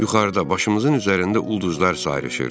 Yuxarıda başımızın üzərində ulduzlar sayrışırdı.